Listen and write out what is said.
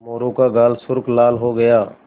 मोरू का गाल सुर्ख लाल हो गया